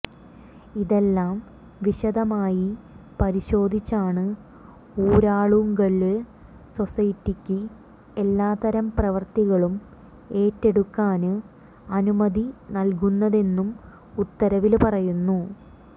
ഇതെല്ലാം വിശദമായി പരിശോധിച്ചാണ് ഊരാളുങ്കല് സൊസൈറ്റിക്ക് എല്ലാത്തരം പ്രവര്ത്തികളും ഏറ്റെടുക്കാന് അനുമതി നല്കുന്നതെന്നും ഉത്തരവില് പറയുന്നു